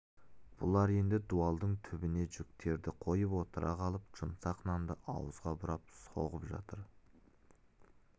бұлар енді дуалдың түбіне жүктерді қойып отыра қалып жұмсақ нанды ауызға бұрап соғып жатыр